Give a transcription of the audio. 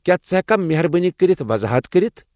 کیٚا ژٕ ہیٚککھا مہربٲنی كرِتھ وضاحت کٔرتھ؟